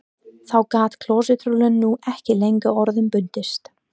Þá gat klósettrúllan nú ekki lengur orða bundist